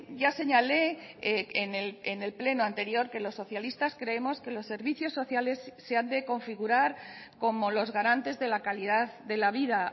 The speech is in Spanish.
ya señalé en el pleno anterior que los socialistas creemos que los servicios sociales se han de configurar como los garantes de la calidad de la vida